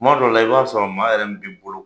Tuma dɔw la i b'a sɔrɔ maa yɛrɛ min bɛ boloko